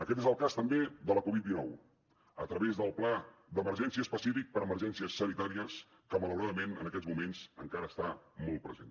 aquest és el cas també de la covid dinou a través del pla d’emergència específic per a emergències sanitàries que malauradament en aquests moments encara està molt present